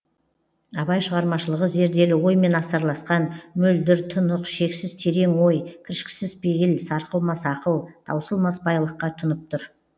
абай шығармашылығы зерделі оймен астарласқан мөлдір тұнық шексіз терең ой кіршіксіз пейіл сарқылмас ақыл таусылмас байлыққа тұнып тұр